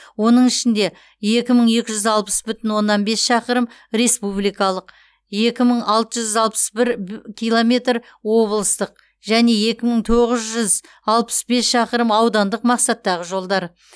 оның ішінде екі мың екі жүз алпыс бүтін оннан бес шақырым республикалық екі мың алты жүз алпыс бір б километр облыстық және екі мың тоғыз жүз алпыс бес шақырым аудандық мақсаттағы жолдар